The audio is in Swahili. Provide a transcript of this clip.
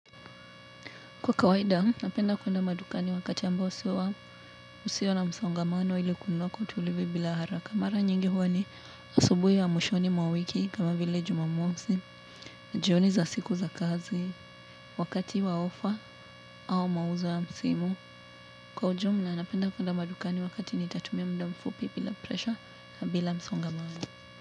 Kwa kawaida, napenda kwenda madukani wakati ambao usio na msongamano ili kununua kwa utulivu bila haraka. Mara nyingi huwa ni asubuhi ya mwishoni mwa wiki kama vile Jumamosi, na jioni za siku za kazi, wakati wa ofa au mauzo ya msimu. Kwa ujumula, napenda kuenda madukani wakati nitatumia mda mfupi bila presha na bila msongamano.